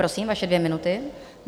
Prosím, vaše dvě minuty.